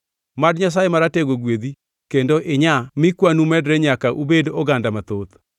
Mad Nyasaye Maratego gwedhi kendo inyaa mi kwanu medre nyaka ubed oganda mathoth.